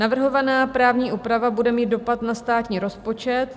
Navrhovaná právní úprava bude mít dopad na státní rozpočet.